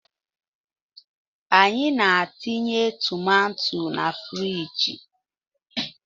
Anyị na-etinye tomato na friji